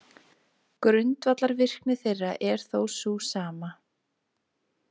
Grundvallarvirkni þeirra er þó sú sama.